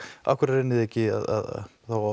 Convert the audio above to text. af hverju reynið þið þá ekki að